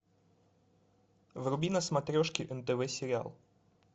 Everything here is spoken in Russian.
вруби на смотрешке нтв сериал